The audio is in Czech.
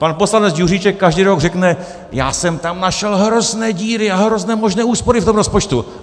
Pan poslanec Juříček každý rok řekne - já jsem tam našel hrozné díry a hrozné možné úspory, v tom rozpočtu.